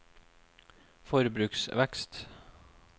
forbruksvekst